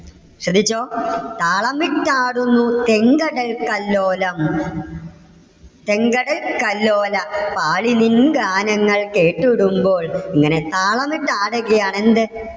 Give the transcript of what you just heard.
ശ്രദ്ധിച്ചോ താളമിട്ടാടുന്നു തേങ്കടൽതല്ലോലം. തേങ്കടൽതല്ലോല. പാളി നിൻ ഗാനങ്ങൾ കേട്ടിടുമ്പോൾ. ഇങ്ങനെ താളമിട്ടാടുകയാണ് എന്ത്?